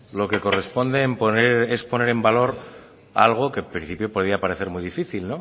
lo que corresponde es poner en valor algo que en principio podía parecer muy difícil